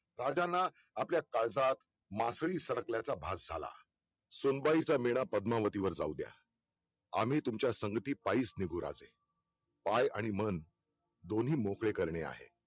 राजांना आपल्या काळजात मासळी सरकल्याचा भास झाला सुंबाईचा विडा पद्मावती वर जाऊद्या. आम्ही तुमच्या संगठी पायीच निघू राजे पाय आणि मन दोन्ही मोकळे करणे आहे